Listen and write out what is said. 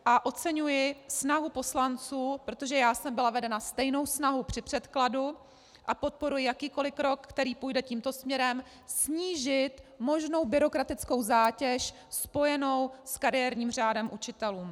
A oceňuji snahu poslanců, protože já jsem byla vedena stejnou snahou při předkladu a podporuji jakýkoli krok, který půjde tímto směrem, snížit možnou byrokratickou zátěž spojenou s kariérním řádem učitelů.